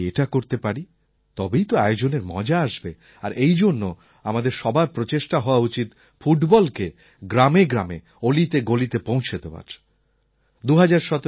যদি এটা করতে পারি তবেই তো আয়োজনের মজা আসবে আর এই জন্য আমাদের সবার প্রচেষ্টা হওয়া উচিত ফুটবলকে গ্রামে গ্রামে অলিতে গলিতে পৌঁছে দেওয়ার